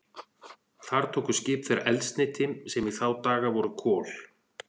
Þar tóku skip þeirra eldsneyti, sem í þá daga voru kol.